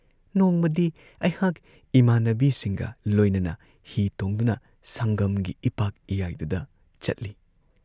ꯅꯣꯡꯃꯗꯤ ꯑꯩꯍꯥꯛ ꯏꯃꯥꯟꯅꯕꯤꯁꯤꯡꯒ ꯂꯣꯏꯅꯅ ꯍꯤ ꯇꯣꯡꯗꯨꯅ ꯁꯪꯒꯝꯒꯤ ꯏꯄꯥꯛ ꯏꯌꯥꯏꯗꯨꯗ ꯆꯠꯂꯤ ꯫